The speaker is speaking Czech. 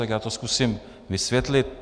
Tak já to zkusím vysvětlit.